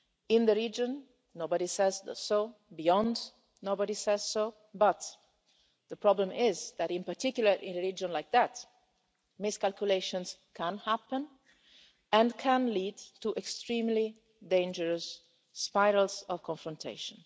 In the region nobody is saying so, beyond nobody is saying so, but the problem is that in particular in a region like that miscalculations can happen and can lead to extremely dangerous spirals of confrontation.